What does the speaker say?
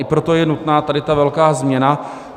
I proto je nutná tady ta velká změna.